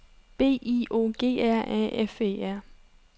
B I O G R A F E R